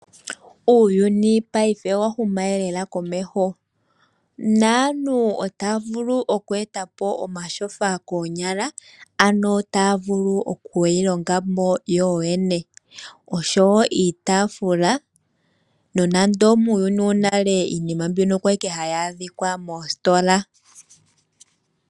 Uuyuni paife owa huma lelela komeho naantu otaa vulu okweeta po omatsofa koonyala ano taa vulu okuyi longamo yoyene oshowo iitafula nonando muuyuni wonale iinima mbino okwali owala hayi adhika moositola.